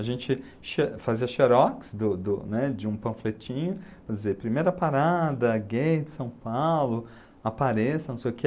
A gente xe fazia xerox do do né, de um panfletinho, para dizer, primeira parada, gay de São Paulo, apareça, não sei o que.